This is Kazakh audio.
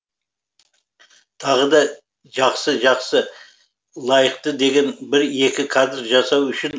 тағы да жақсы жақсы лайықты деген бір екі кадр жасау үшін